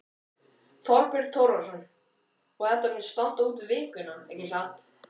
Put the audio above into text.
Þorbjörn Þórðarson: Og þetta mun standa út vikuna, ekki satt?